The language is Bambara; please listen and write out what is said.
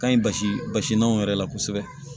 Ka ɲi basi basi n'anw yɛrɛ la kosɛbɛ